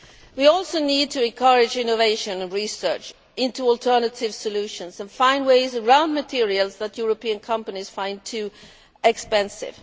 We also need to encourage innovation and research into alternative solutions and find ways around materials that European companies find too expensive.